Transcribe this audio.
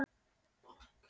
Hvernig smakkast?